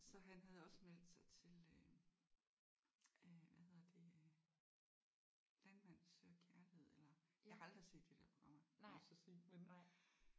Så han havde også meldt sig til øh øh hvad hedder det øh Landmand søger kærlighed eller jeg har aldrig set de der programmer må jeg så sige men